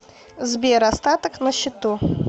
сбер остаток на счету